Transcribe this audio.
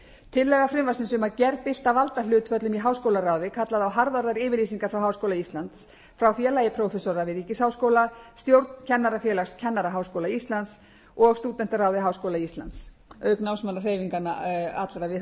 tillaga frumvarpsins um að gerbylta valdahlutföllum í háskólaráði kallaði á harðorðar yfirlýsingar frá háskóla íslands félagi prófessora við ríkisháskóla stjórn kennarafélags kennaraháskóla íslands og stúdentaráði háskóla íslands auk námsmannahreyfinganna allra við háskólana